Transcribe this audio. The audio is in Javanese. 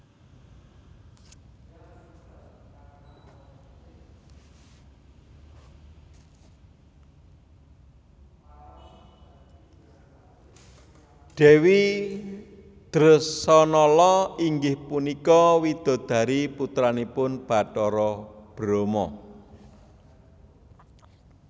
Dèwi Dresanala inggih punika widodari putranipun Batara Brama